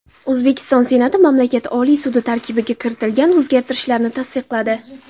O‘zbekiston Senati mamlakat Oliy sudi tarkibiga kiritilgan o‘zgarishlarni tasdiqladi.